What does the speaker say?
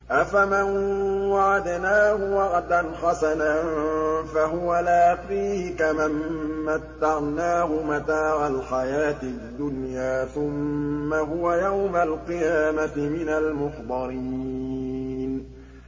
أَفَمَن وَعَدْنَاهُ وَعْدًا حَسَنًا فَهُوَ لَاقِيهِ كَمَن مَّتَّعْنَاهُ مَتَاعَ الْحَيَاةِ الدُّنْيَا ثُمَّ هُوَ يَوْمَ الْقِيَامَةِ مِنَ الْمُحْضَرِينَ